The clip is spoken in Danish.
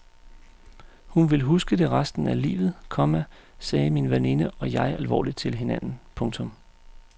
Hun vil huske det resten af livet, komma sagde min veninde og jeg alvorligt til hinanden. punktum